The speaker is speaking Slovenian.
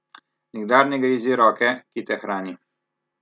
Nikdar ne grizi roke, ki te hrani!